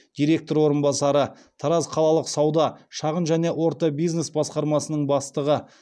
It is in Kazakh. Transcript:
директор орынбасары тараз қалалық сауда шағын және орта бизнес басқармасының бастығы